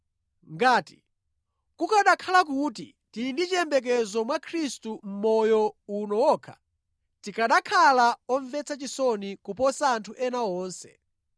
Ngati kukanakhala kuti tili ndi chiyembekezo mwa Khristu mʼmoyo uno wokha, tikanakhala omvetsa chisoni kuposa anthu ena onse.